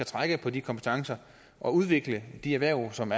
trække på de kompetencer og udvikle de erhverv som